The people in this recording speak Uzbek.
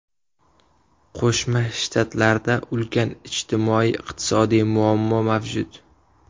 Qo‘shma Shtatlarda ulkan ijtimoiy-iqtisodiy muammo mavjud.